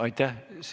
Aitäh!